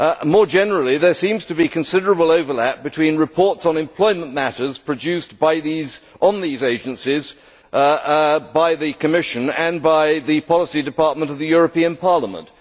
More generally, there seems to be considerable overlap between reports on employment matters produced on these agencies by the Commission and by the Policy Department of the European Parliament.